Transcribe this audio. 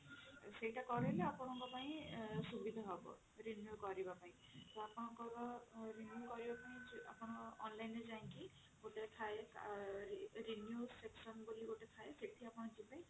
ସେଇଟା କରେଇଲେ ଆପଣଙ୍କ ପାଇଁ ସୁବିଧା ହବ renew କରିବାପାଇଁ ତ ଆପଣଙ୍କର renew କରିବା ପାଇଁ ଆପଣ online ରେ ଯାଇକି ଗୋଟେ ଥାଏ renew session ବୋଲି ଥାଏ ସେଠି ଆପଣ ଯିବେ